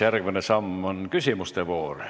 Järgmine samm selleks on küsimuste voor.